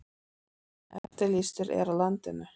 Eftirlýstur er á landinu